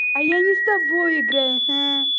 а я не с тобой играю